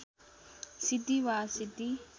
सिद्धि वा असिद्धि